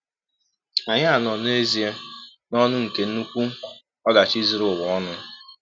Ànyị a nọ n’ezịe n'ọnụ nke nnukwu ọdachi zuru ụwa ọnụ?